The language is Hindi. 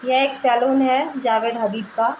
यह एक सैलून है जावेद हवीब का।